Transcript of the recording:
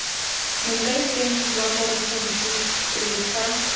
moakhaefeng wa porofense pele ga